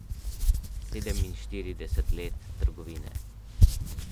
Sedeminštirideset let trgovine.